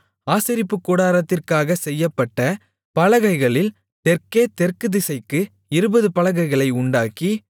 ஆசரிப்புக்கூடாரத்திற்காக செய்யப்பட்ட பலகைகளில் தெற்கே தெற்குதிசைக்கு இருபது பலகைகளை உண்டாக்கி